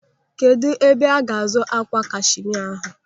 Kedụ ebe ga-azụ ákwà kashimia ahụ?